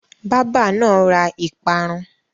Bábà náà ra ìparun.